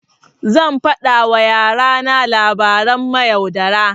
Zan faɗa wa yara na labaran mayaudara.